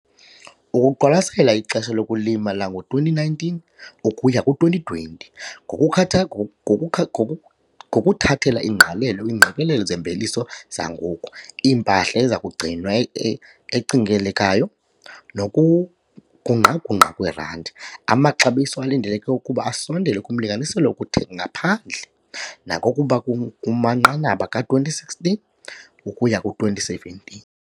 Ukuqwalasela ixesha lokulima lango-2019 ukuya ku-2020, ngokukha ngoku ngoku ngokuthathela ingqalelo, iingqikelelo zemveliso zangoku, impahla eza kugcinwa ecingelekayo nokugungqa-gungqa kwerandi, amaxabiso alindeleke ukuba asondele kumlinganiselo wokuthenga ngaphandle, nanokuba kum kumanqanaba ka-2016 ukuya ku-2017.